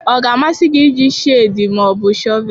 Ọ ga-amasị gị iji spedii ma ọ bụ shọvel?